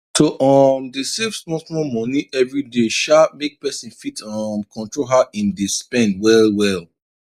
to um dey save small small money every day um make person fit um control how im dey spend well well